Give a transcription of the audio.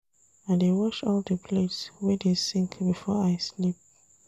I dey wash all di plates wey dey sink before I sleep.